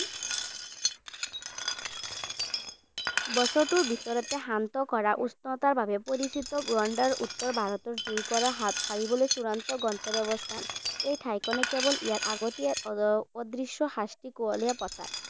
বছৰটোৰ ভিতৰতে শান্ত কৰা উষ্ণতাৰ বাবে পৰিচিত ৱানাদৰ উত্তৰ ভাৰতৰ জুইৰ পৰা হাত সাৰিবলৈ চূড়ান্ত গন্তব্যস্থান। এই ঠাইখনে কেৱল ইয়াৰ আগতেই অদৃশ্য শাস্তি কুমলীয়া পথাৰ।